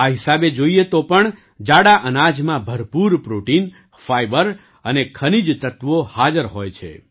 આ હિસાબે જોઈએ તો પણ જાડા અનાજમાં ભરપૂર પ્રૉટિન ફાઇબર અને ખનીજ ત્તત્વો હાજર હોય છે